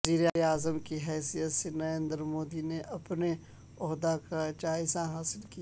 وزیر اعظم کی حیثیت سے نریندر مودی نے اپنے عہدہ کا جائزہ حاصل کر لیا